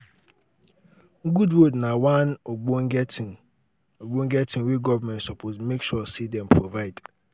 good road na one ogbonge tin ogbonge tin wey government suppose make sure say dem provide